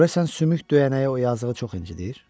Görəsən sümük döyənəyi o yazığı çox incidir?